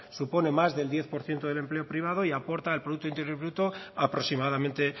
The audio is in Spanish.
supone más del diez por ciento del empleo privado y aporta al producto interior bruto aproximadamente